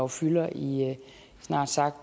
fylder i snart sagt